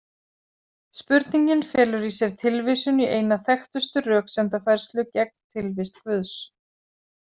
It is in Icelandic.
Spurningin felur í sér tilvísun í eina þekktustu röksemdafærslu gegn tilvist Guðs.